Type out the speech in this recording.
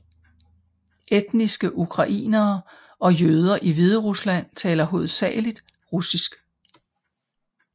Etniske ukrainere og jøder i Hviderusland taler hovedsageligt russisk